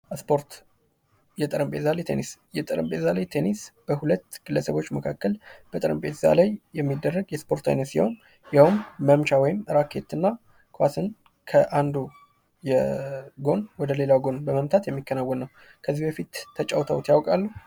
ስፖርት የጠረጴዛ ላይ ቴኒስ የጠረጴዛ ላይ ቴኒስ በሁለት ግለሰቦች መካከል በጠረጴዛ ላይ የሚደረግ የስፖርት አይነት ሲሆን ፤ ይኸውም መምቻ ውይም ራኬት እና ኳስን ከአንዱ ጎን ወደ ሌላው ጎን በመምጣት የሚከናወን ነው። ከዚህ በፊት ተጫውተውት ያውቃሉ?